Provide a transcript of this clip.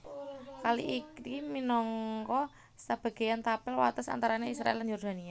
Kali iki minangka sebagéan tapel wates antarané Israèl lan Yordania